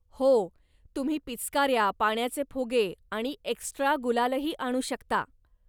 हो, तुम्ही पिचकाऱ्या, पाण्याचे फुगे आणि एक्स्ट्रा गुलालही आणू शकता.